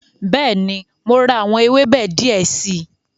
Bẹ́ẹ̀ni, mo ra àwọn ewébẹ̀ die si